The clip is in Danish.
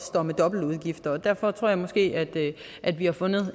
står med dobbeltudgifter og derfor tror jeg måske at at vi har fundet